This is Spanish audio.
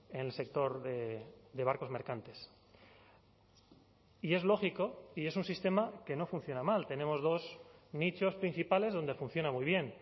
en el sector de barcos mercantes y es lógico y es un sistema que no funciona mal tenemos dos nichos principales donde funciona muy bien